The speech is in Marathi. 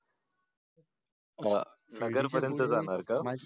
नगर पर्यंत जाणार का